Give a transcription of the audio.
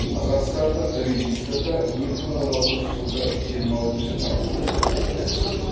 қазақстандық регистрда екі мың он алтыншы жылғы жиырма алтыншы тамызда тіркелді